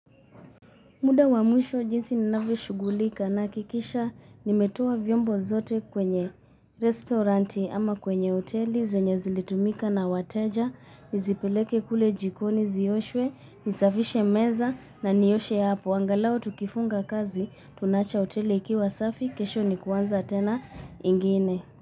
Muda wa mwisho jinsi ninavyo shughulika na hakikisha nimetoa vyombo zote kwenye restoranti ama kwenye hoteli, zenye zilizotumika na wateja, nizipeleke kule jikoni zioshwe, nisafishe meza na nioshe ya hapo. Angalao tukifunga kazi, tunacha hoteli ikiwa safi, kesho ni kuanza tena ingine.